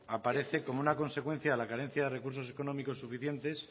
aparece como una consecuencia de la carencia de recursos económicos suficientes